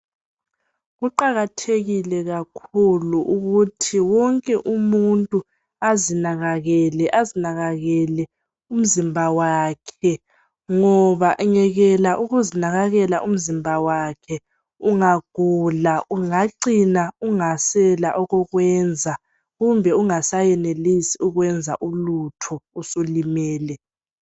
Kuqakathekile kakhulu ukuthi wonke umuntu azinakakele, azinakakele umzimba wakhe ngoba engekela ukuzinakakela umzimba wakhe ungagula ungacina ungasela okokwenza kumbe ungasayenelisi ukwenza ulutho usulimele.